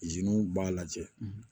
b'a lajɛ